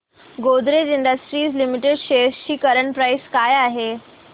Godrej industries limited shares ची current price काय आहे